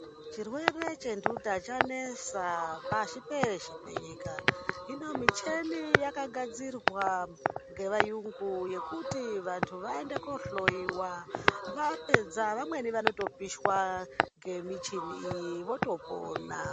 Chirwere chentuta chanesa pashi peshe penyika. Hino mucheni yakagadzirwa ngevayungu yekuti vantu vaende kohloyiwa vapedza vamweni vanotopisha ngemichini votopona.